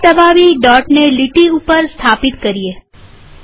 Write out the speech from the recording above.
mouse દબાવી દોટને લીટી ઉપર સ્થાપિત કરીએ